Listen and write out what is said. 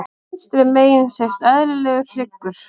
Vinstra megin sést eðlilegur hryggur.